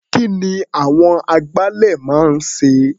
Kí ni àwọn agbálẹ̀ máa ń ṣe?